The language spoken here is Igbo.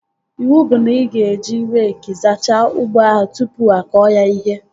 Iwu bụ na ị ga-eji reekị zachaa ugbo ahụ tụpụ akọ ya ihe!